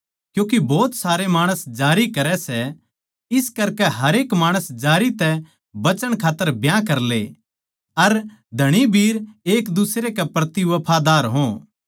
क्यूँके भोत सारे माणस जारी करै सै इस करके हरेक माणस जारी तै बचण खात्तर ब्याह करले अर धणीबीर एक दुसरे के प्रति वफादार हो